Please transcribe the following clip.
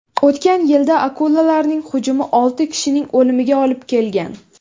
O‘tgan yilda akulalarning hujumi olti kishining o‘limiga olib kelgan.